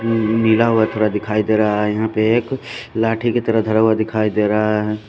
मिला हुआ थोडा दिखाई दे रहा है यहाँ पे एक लाठी की तरह धरा हुआ दिखाई दे रहा है।